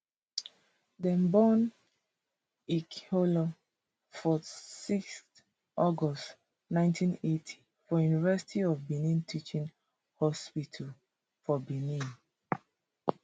dem born ikhilor for sixth august nineteen eighty for university of benin teaching hospital for benin